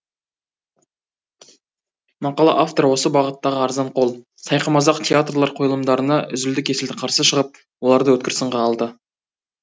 мақала авторы осы бағыттағы арзанқол сайқымазақ театрлар қойылымдарына үзілді кесілді қарсы шығып оларды өткір сынға алды